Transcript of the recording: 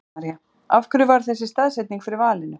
Helga María: Af hverju varð þessi staðsetning fyrir valinu?